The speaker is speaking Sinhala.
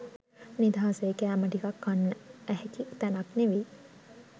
නිදහසේ කෑම ටිකක් කන්න ඇහැකි තැනක් නෙවෙයි